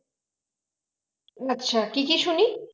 আচ্ছা কি কি শুনি